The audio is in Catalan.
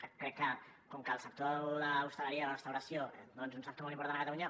que crec que com que el sector de l’hostaleria i la restauració és un sector molt important a catalunya